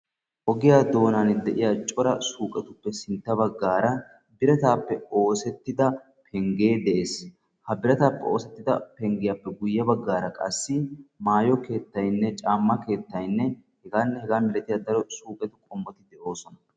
Ogiya doonan de'iya cora suuqetuppe sintta baggaara birataappe oosettida penggee de'ees. Ha birataappe oosettida penggiyappe guyye baggaara qassi maayo keettaynne caamma keettayinne hegaanne hegaa malatiyabay de'iyo daro suuqe qommoti de'oosona.